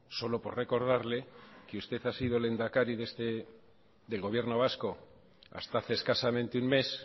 solo por recordarle que usted ha sido el lehendakari del gobierno vasco hasta hace escasamente un mes